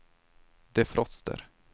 defroster